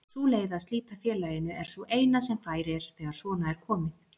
Sú leið að slíta félaginu er sú eina sem fær er þegar svona er komið.